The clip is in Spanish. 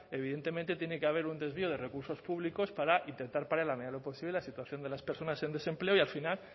evidentemente tiene que haber un desvío de recursos públicos para intentar paliar en la medida de lo posible la situación de las personas en desempleo y al final